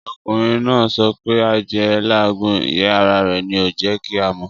Ọkùnrin náà sọ pé adìẹ n làágùn, ìyẹ́ ara rẹ̀ ni ò jẹ́ kí a mọ̀'